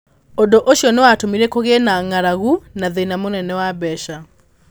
Ũndũ ũcio nĩ watũmire kũgĩe na ng'aragu na thĩna mũnene wa mbeca.